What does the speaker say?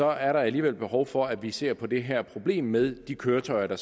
er der alligevel behov for at vi ser på det her problem med de køretøjer der